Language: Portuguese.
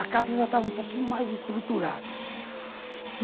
A casa já estava um pouquinho mais estruturada.